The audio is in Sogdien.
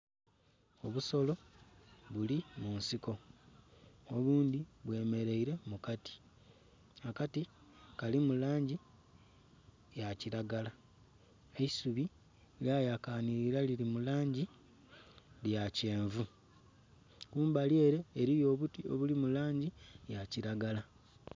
Obusolo buli munsiko obundhi bwemereire mu kati, akati kalimu langi eya kilagala. Eisubi lya yakanhirila lili mu langi ya kyenvu kumbali ere eriyo obuti obuli mu langi eya kilagala